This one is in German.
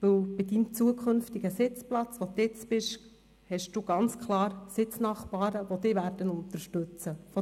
Weil an Ihrem zukünftigen Sitzplatz, an dem Sie jetzt sind, haben Sie ganz klar Sitznachbarn, die Sie unterstützen werden.